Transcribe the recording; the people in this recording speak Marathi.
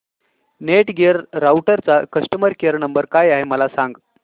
नेटगिअर राउटरचा कस्टमर केयर नंबर काय आहे मला सांग